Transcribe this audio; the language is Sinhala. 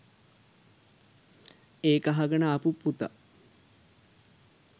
ඒක අහගෙන ආපු පුතා